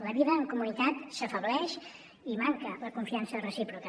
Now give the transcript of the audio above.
la vida en comunitat s’afebleix i manca la confiança recíproca